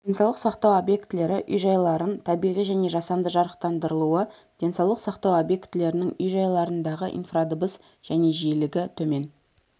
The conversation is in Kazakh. денсаулық сақтау объектілері үй-жайларын табиғи және жасанды жарықтандырылуы денсаулық сақтау объектілерінің үй-жайларындағы инфрадыбыс және жиілігі төмен